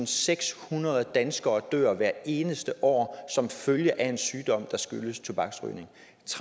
sekshundrede danskere dør hvert eneste år som følge af en sygdom der skyldes tobaksrygning